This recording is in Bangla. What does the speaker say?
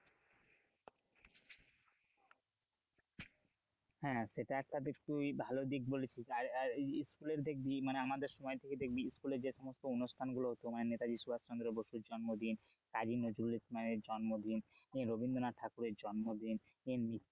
হ্যাঁ সেটা একটা বেশ তুই ঠিক ভালো দিক বলেছিস আর আর এই স্কুলের দেখবি মানে আমাদের সময় থেকে দেখবি স্কুলে যে সমস্ত অনুষ্ঠানগুলো হতো মানে নেতাজি সুভাষচন্দ্র বসুর জন্মদিন কাজী নজরুল ইসলামের জন্মদিন রবীন্দ্রনাথ ঠাকুরের জন্মদিন,